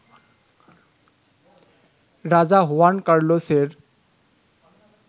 Raja Juan কার্লোসের